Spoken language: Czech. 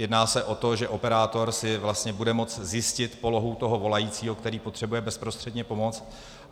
Jedná se o to, že operátor si vlastně bude moci zjistit polohu toho volajícího, který potřebuje bezprostředně pomoct.